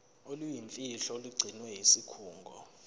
oluyimfihlo olugcinwe yisikhungo